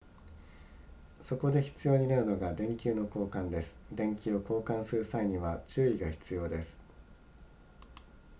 そこで必要になるのが電球の交換です電球を交換する際には注意が必要です